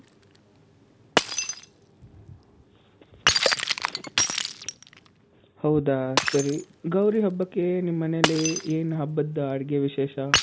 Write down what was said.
ಹೌದಾ ? ಸರಿ. ಗೌರಿ ಹಬ್ಬಕ್ಕೆ ನಿಮ್ಮನೆಲಿ ಏನ್ ಹಬ್ಬದ ಅಡ್ಗೆ ವಿಶೇಷ?